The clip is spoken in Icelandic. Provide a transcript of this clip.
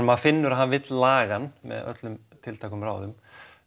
maður finnur að hann vill laga hann með öllum tiltækum ráðum